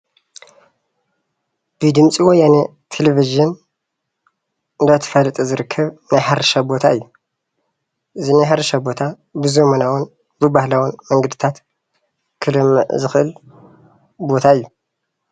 ብድምፂ ወያነ ቴሌቭዥን እንዳተፋለጠ ዝርከብ ናይ ሕርሻ ቦታ እዩ፡፡ እዚ ናይ ሕርሻ ቦታ ብዘመናዊን ብባህላዊን መንገድታት ክለምዕ ዝክእል ቦታ እዩ፡፡